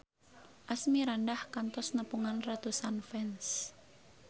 Asmirandah kantos nepungan ratusan fans